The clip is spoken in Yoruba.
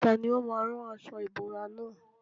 Tani ó máa rán aṣọ ìbora nà?